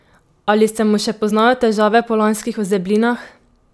Ali se mu še poznajo težave po lanskih ozeblinah?